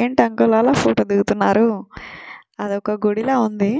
ఏంటి అంకుల్ అల ఫోటో దిగుతున్నారు అది వక గుడి లాగా ఉన్నది